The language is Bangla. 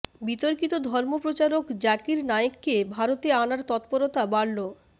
বিতর্কিত ধর্ম প্রচারক জাকির নায়েককে ভারতে আনার তৎপরতা বাড়ল